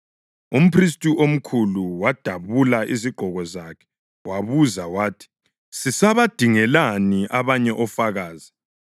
Umphristi omkhulu wadabula izigqoko zakhe wabuza wathi, “Sisabadingelani abanye ofakazi?